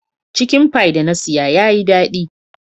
Chicken pie da na siya ya Yi dadi.